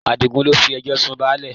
Adigun ló fi ẹjọ́ sun báálẹ̀